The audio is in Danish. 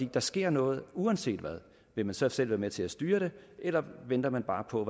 der sker noget uanset hvad vil man så selv være med til at styre det eller venter man bare på